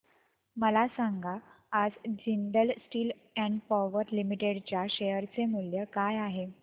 मला सांगा आज Jindal steel and power limited च्या शेअर चे मूल्य काय आहे